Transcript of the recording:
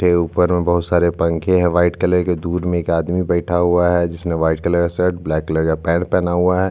यहाँ पे दो खिड़किया है दो दरवाजे है ऊपर में जो है उसका कलर ब्लैक है।